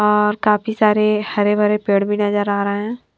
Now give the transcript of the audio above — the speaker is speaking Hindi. और काफी सारे हरे भरे पेड़ भी नज़र आ रहे है।